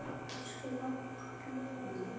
Elsku Valli afi minn.